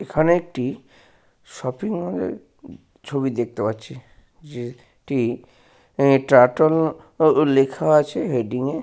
এইখানে একটি শপিং মলের ছবি দেখতে পাচ্ছি যে টি টার্টল উ লেখা আছে হেডিং -এ।